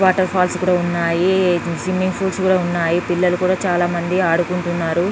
water falls కూడా ఉన్నాయి swimming pools కూడా ఉన్నాయి పిల్లలు కూడా చాలా మంది ఆడుకుంటున్నారు--